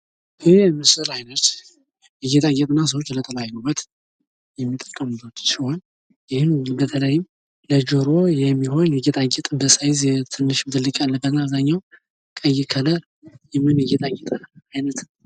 ይህ የምስል አይነት ለጌጣጌጥና ሰዎች ለተለያዩ ውበት የሚጠቀሙበት ሲሆን ይህም በተለይም ለጀሮ የሚሆን በሰይዝ ትንሽም ትልቅምያለበት አብዛኛው ቀይ ከለር የሚሆን የጌጣ ጌጥ